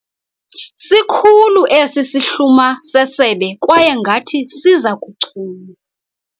Sikhulu esi sihluma sesebe kwaye ngathi siza kuchuma.